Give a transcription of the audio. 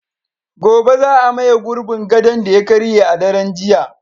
Gobe ​​za a maye gurbin gadon da ya karye a daren jiya